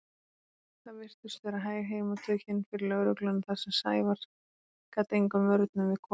Það virtust vera hæg heimatökin fyrir lögregluna þar sem Sævar gat engum vörnum við komið.